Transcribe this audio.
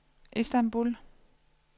Istanbul